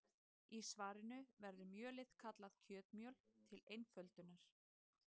Í svarinu verður mjölið kallað kjötmjöl til einföldunar.